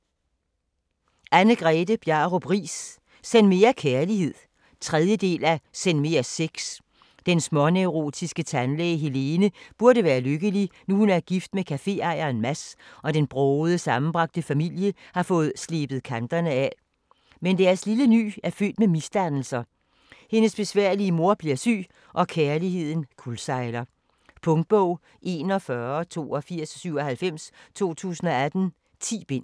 Riis, Anne-Grethe Bjarup: Send mere kærlighed 3. del af Send mere sex. Den småneurotiske tandlæge Helene burde være lykkelig, nu hun er gift med caféejeren Mads og den brogede, sammenbragte familie har fået slebet kanterne af. Men deres lille ny er født med misdannelser, Helenes besværlige mor bliver syg, og kærligheden kuldsejler. Punktbog 418297 2018. 10 bind.